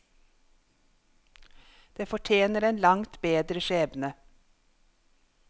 Det fortjener en langt bedre skjebne.